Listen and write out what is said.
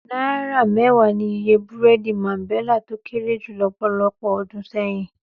Náírà mẹ́wàá ni iye búrẹ́dì Máńbẹlà tó kéré jù lọ́pọ̀lọpọ̀ ọdún sẹ́yìn.